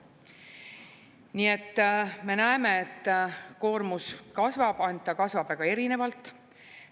Nii et me näeme, et koormus kasvab, ainult ta kasvab väga erinevalt.